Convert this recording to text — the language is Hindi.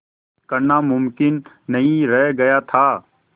करना मुमकिन नहीं रह गया था